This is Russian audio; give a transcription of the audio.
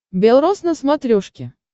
белрос на смотрешке